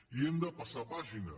i hem de passar pàgina